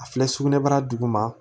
A filɛ sugunɛbara duguma